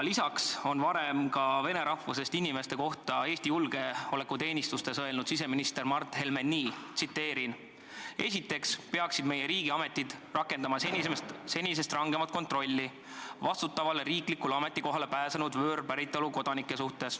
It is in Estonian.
Lisaks on siseminister Mart Helme varem vene rahvusest inimeste kohta Eesti julgeolekuteenistustes öelnud nii: "Esiteks peaksid meie riigiametid rakendama senisest rangemat kontrolli vastutavale riiklikule ametikohale pääsenud võõrpäritolu kodanike suhtes.